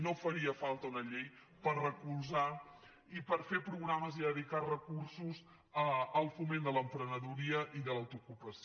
no faria falta una llei per recolzar i per fer programes i dedicar recursos al foment de l’emprenedoria i de l’autoocupació